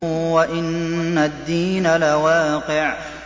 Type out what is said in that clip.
وَإِنَّ الدِّينَ لَوَاقِعٌ